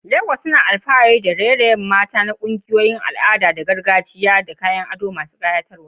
Legas tana alfahari da kungiyoyin raye-rayen mata masu nishaɗantarwa da al'adun gargajiya da kayan ado masu kayatarwa.